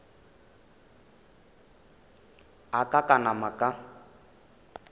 a ka ka napa ka